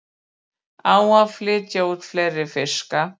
Á að flytja út fleiri fiska